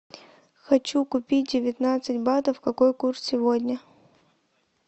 хочу купить девятнадцать батов какой курс сегодня